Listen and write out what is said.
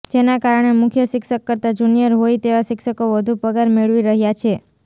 જેના કારણે મુખ્ય શિક્ષક કરતાં જુનિયર હોય તેવા શિક્ષકો વધુ પગાર મેળવી રહયા છે